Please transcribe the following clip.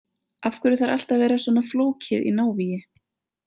Af hverju þarf allt að vera svona flókið í návígi?